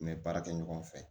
N bɛ baara kɛ ɲɔgɔn fɛ